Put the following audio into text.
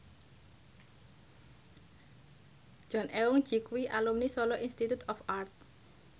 Jong Eun Ji kuwi alumni Solo Institute of Art